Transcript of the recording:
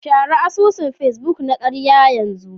Share asusun Facebook na karya yanzu